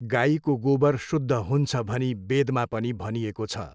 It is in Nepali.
गाईको गोबर शुद्ध हुन्छ भनी वेदमा पनि भनिएको छ।